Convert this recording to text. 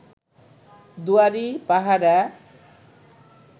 দুয়ারী, পাহারা